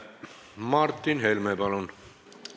Martin Helme, palun!